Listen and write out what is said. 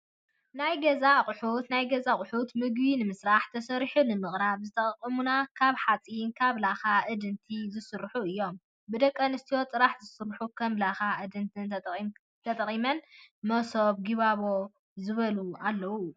ናይ ገዛ ኣቁሑት፦ ናይ ገዛ ኣቁሑት ምግቢ ንምስራሕን ተሰሪሑ ንመቀረብን ዝተቅሙና ካብ ሓፂንን ካብ ላኻን እድኒን ዝተሰርሑ እዮም። ብደቂ አንሰትዮ ጥራሕ ዝስርሑ ከም ላኻን እድን ተጠቂመን መሶብ ጊባቦ ዝበሉ ኣለው።